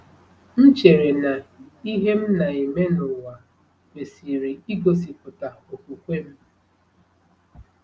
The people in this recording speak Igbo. M chere na ihe m na-eme n’ụwa kwesịrị igosipụta okwukwe m.